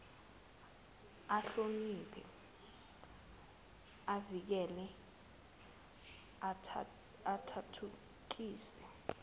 ahloniphe avikele athuthukise